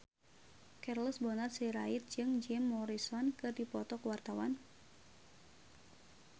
Charles Bonar Sirait jeung Jim Morrison keur dipoto ku wartawan